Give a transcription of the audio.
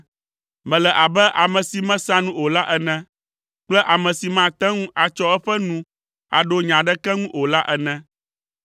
Mele abe ame si mesea nu o la ene kple ame si mate ŋu atsɔ eƒe nu aɖo nya aɖeke ŋu o la ene.